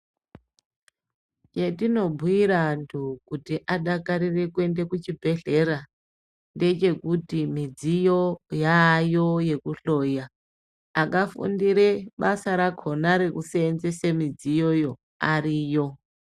Zvetinobuyire antu kuti adakarire kuenda kuchibhedhlera, ngechekuti midziyo yaayo yekuhloya. Akafundire basa rakhona rekuseenzese midziyoyo ariyo.